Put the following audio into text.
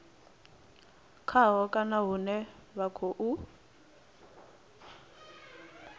khaho kana hune vha khou